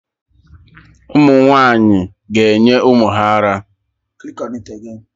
Ụmụ nwaanyị ga-enye ụmụ ha ara